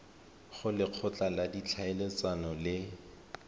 go lekgotla la ditlhaeletsano le